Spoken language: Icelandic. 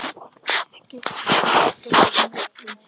Ekkert getur stöðvað mig, enginn.